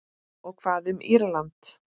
Og hvað um Írland?